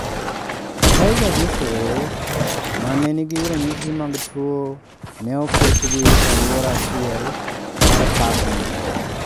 Tiger duto ma ne nigi ranyisi mag tuo ne oketgi e alwora achiel mar parkno.